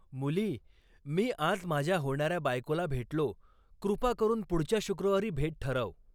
मुली, मी आज माझ्या होणाऱ्या बायकोला भेटलो, कृपा करून पुढच्या शुक्रवारी भेट ठरव.